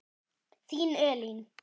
Þín Elín.